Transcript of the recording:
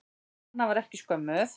Anna var ekkert skömmuð.